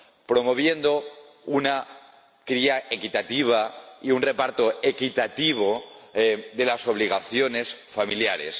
Promoviendo una cría equitativa y un reparto equitativo de las obligaciones familiares.